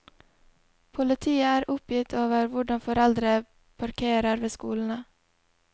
Politiet er oppgitt over hvordan foreldre parkerer ved skolene.